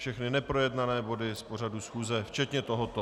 Všechny neprojednané body z pořadu schůze, včetně tohoto.